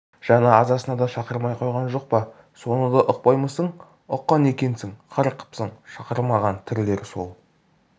жаназасына да шақырмай қойған жоқ па соны да ұқпаймысың ұққан екенсің қарқ қыпсың шақырмаған тірілер сол